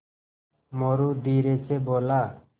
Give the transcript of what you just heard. मोरू धीरे से बोला